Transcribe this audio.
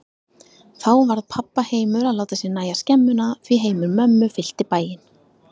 Þá varð pabba heimur að láta sér nægja skemmuna, því heimur mömmu fyllti bæinn.